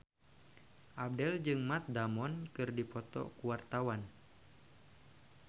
Abdel jeung Matt Damon keur dipoto ku wartawan